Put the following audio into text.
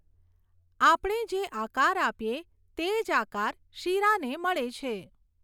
આપણે જે આકાર આપીએ તે જ આકાર શીરાને મળે છે.